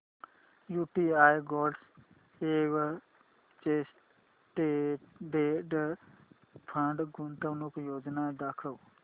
UTI gold exchange traded fund गुंतवणूक योजना दाखव